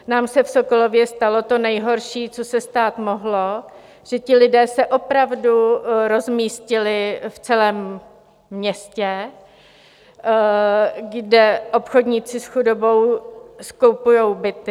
Nám se v Sokolově stalo to nejhorší, co se stát mohlo, že ti lidé se opravdu rozmístili v celém městě, kde obchodníci s chudobou skupují byty.